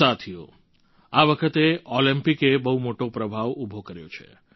સાથીઓ આ વખતે ઓલમ્પિકે બહુ મોટો પ્રભાવ ઉભો કર્યો છે